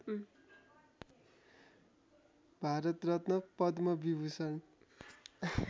Bharat Ratna Padma Vibhushan